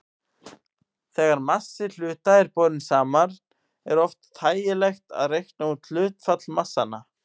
Þegar massi hluta er borinn saman er oft þægilegt að reikna út hlutfall massanna.